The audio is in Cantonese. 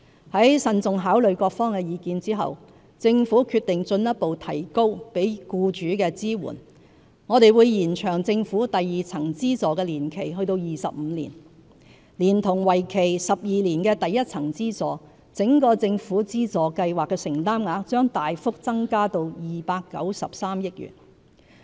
在慎重考慮各方的意見後，政府決定進一步提高給予僱主的支援，我們會延長政府第二層資助的年期至25年，連同為期12年的第一層資助，整個政府資助計劃的承擔額將大幅增加至293億元。